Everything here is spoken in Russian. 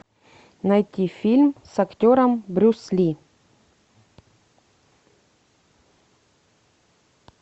найти фильм с актером брюс ли